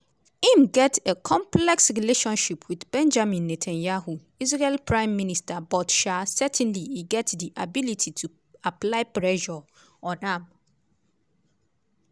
im get a complex relationship with benjamin netanyahu israel prime minister but um certainly e get di ability to apply pressure on am.